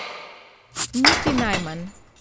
Niti najmanj.